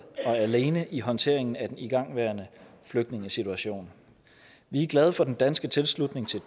alene i håndteringen af den igangværende flygtningesituation vi er glade for den danske tilslutning til